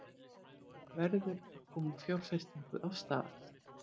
Verður að koma fjárfestingu af stað